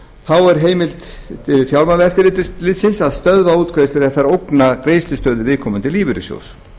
þá er heimild til fjármálaeftirlitsins að stöðva útgreiðslur ef þær ógna greiðslustöðu viðkomandi lífeyrissjóðs